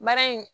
Baara in